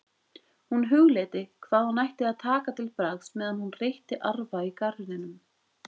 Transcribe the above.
Hún hugleiddi hvað hún ætti að taka til bragðs meðan hún reytti arfa í garðinum.